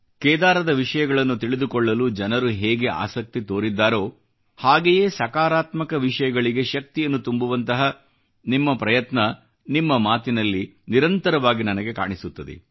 ಕೇದಾರದ ವಿಷಯಗಳನ್ನು ತಿಳಿದುಕೊಳ್ಳಲು ಜನರು ಹೇಗೆ ಆಸಕ್ತಿ ತೋರಿದ್ದಾರೋ ಹಾಗೆಯೇ ಸಕಾರಾತ್ಮಕ ವಿಷಯಗಳಿಗೆ ಶಕ್ತಿಯನ್ನು ತುಂಬುವಂತಹ ನಿಮ್ಮ ಪ್ರಯತ್ನ ನಿಮ್ಮ ಮಾತಿನಲ್ಲಿ ನಿರಂತರವಾಗಿ ನನಗೆ ಕಾಣಿಸುತ್ತದೆ